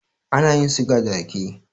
Ana yin siga daga rake